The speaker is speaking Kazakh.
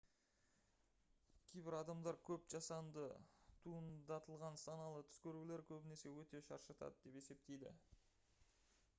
кейбір адамдар көп жасанды туындатылған саналы түс көрулер көбінесе өте шаршатады деп есептейді